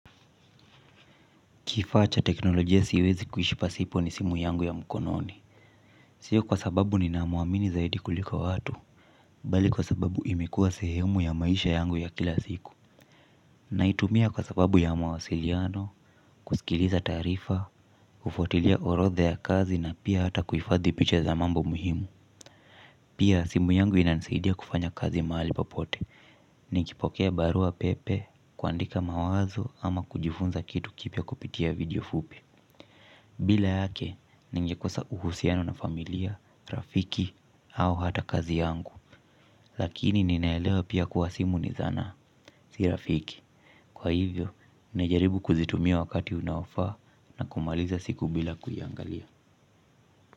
Kifaa cha teknolojia siwezi kuishi pasipo ni simu yangu ya mkononi. Sio kwa sababu ninamuamini zaidi kuliko watu. Bali kwa sababu imekua sehemu ya maisha yangu ya kila siku. Naitumia kwa sababu ya mawasiliano, kusikiliza tarifa, ufuatilia orodha ya kazi na pia hata kuifadhi picha za mambo muhimu. Pia simu yangu inanisaidia kufanya kazi mahali papote. Nikipokea barua pepe, kuandika mawazo ama kujifunza kitu kipya kupitia video fupi. Bila yake, ningekosa uhusiano na familia, rafiki, au hata kazi yangu. Lakini ninaelewa pia kuwa simu ni zana, si rafiki. Kwa hivyo, naijaribu kuzitumia wakati unaofaa na kumaliza siku bila kuiangalia.